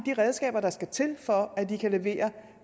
redskaber der skal til for at de kan levere